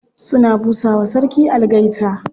Suna busa wa sarki algaita.